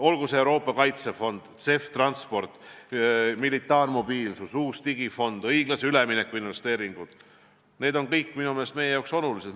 Olgu see Euroopa Kaitsefond, CEF-Transport, militaarmobiilsus, uus digifond, õiglase ülemineku investeeringud – need on kõik minu meelest meile olulised.